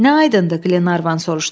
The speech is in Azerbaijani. Nə aydındır, Qlenarvan soruşdu.